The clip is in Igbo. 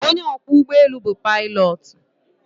Onye ọkwọ ụgbọelu bu pilotu.